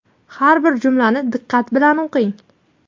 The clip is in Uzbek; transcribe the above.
har bir jumlani diqqat bilan o‘qing.